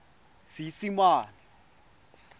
seesimane